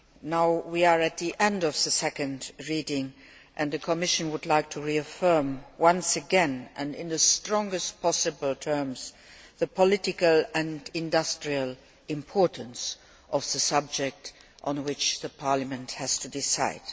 Now we are at the end of the second reading, and the Commission would like to reaffirm once again and in the strongest possible terms the political and industrial importance of the subject on which Parliament has to decide.